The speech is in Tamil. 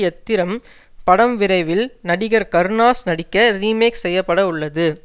யத்திரம் படம் விரைவில் நடிகர் கருணாஸ் நடிக்க ரீமேக் செய்ய பட உள்ளது